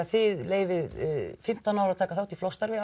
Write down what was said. þið leyfið fimmtán ára að taka þátt í flokksstarfi